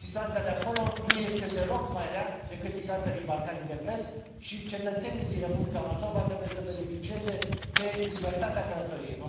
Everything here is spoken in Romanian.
Situația de acolo nu este deloc mai rea decât situația din Balcanii de Vest și cetățenii din Republica Moldova trebuie să beneficieze de libertatea călătoriei.